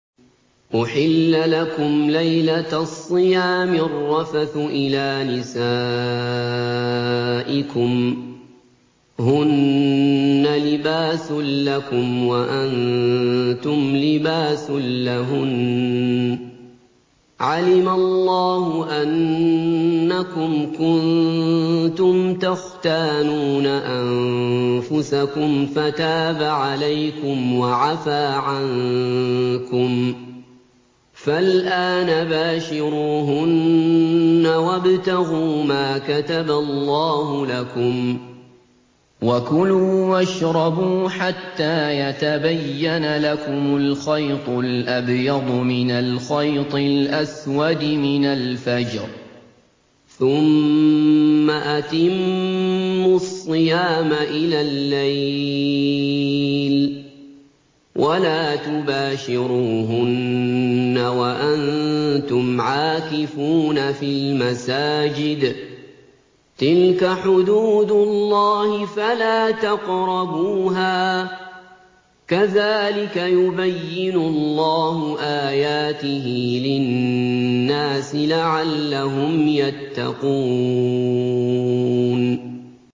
أُحِلَّ لَكُمْ لَيْلَةَ الصِّيَامِ الرَّفَثُ إِلَىٰ نِسَائِكُمْ ۚ هُنَّ لِبَاسٌ لَّكُمْ وَأَنتُمْ لِبَاسٌ لَّهُنَّ ۗ عَلِمَ اللَّهُ أَنَّكُمْ كُنتُمْ تَخْتَانُونَ أَنفُسَكُمْ فَتَابَ عَلَيْكُمْ وَعَفَا عَنكُمْ ۖ فَالْآنَ بَاشِرُوهُنَّ وَابْتَغُوا مَا كَتَبَ اللَّهُ لَكُمْ ۚ وَكُلُوا وَاشْرَبُوا حَتَّىٰ يَتَبَيَّنَ لَكُمُ الْخَيْطُ الْأَبْيَضُ مِنَ الْخَيْطِ الْأَسْوَدِ مِنَ الْفَجْرِ ۖ ثُمَّ أَتِمُّوا الصِّيَامَ إِلَى اللَّيْلِ ۚ وَلَا تُبَاشِرُوهُنَّ وَأَنتُمْ عَاكِفُونَ فِي الْمَسَاجِدِ ۗ تِلْكَ حُدُودُ اللَّهِ فَلَا تَقْرَبُوهَا ۗ كَذَٰلِكَ يُبَيِّنُ اللَّهُ آيَاتِهِ لِلنَّاسِ لَعَلَّهُمْ يَتَّقُونَ